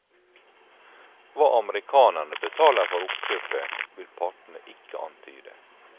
Hva amerikanerne betaler for oppkjøpet, vil partene ikke antyde.